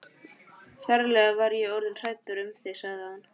Ferlega var ég orðinn hræddur um þig sagði hann.